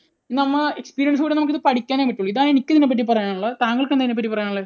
നമ്മൾ, experience കൊണ്ട് നമുക്ക് പഠിക്കാൻ പറ്റൂ. ഇതാണ് എനിക്ക് ഇതിനെപ്പറ്റി പറയാനുള്ളത്. താങ്കൾക്ക് എന്താണ് ഇതിനെപ്പറ്റി പറയാനുള്ളത്?